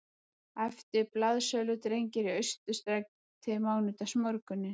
æptu blaðsöludrengir í Austurstræti mánudagsmorguninn